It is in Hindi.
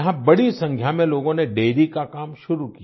यहाँ बड़ी संख्या में लोगों ने डेयरी का काम शुरू किया